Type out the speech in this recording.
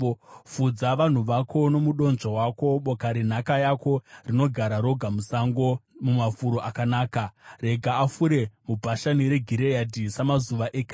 Fudza vanhu vako nomudonzvo wako, boka renhaka yako, rinogara roga musango, mumafuro akanaka. Rega afure muBhashani reGireadhi samazuva ekare.